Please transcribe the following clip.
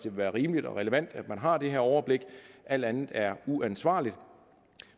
være rimeligt og relevant at man har det her overblik alt andet er uansvarligt